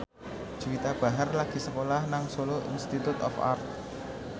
Juwita Bahar lagi sekolah nang Solo Institute of Art